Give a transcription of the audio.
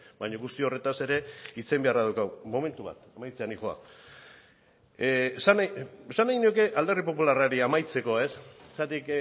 baina guzti horretaz ere hitz egin beharra daukagu momentu bat amaitzera noa esan nahi nuke alderdi popularrari amaitzeko zergatik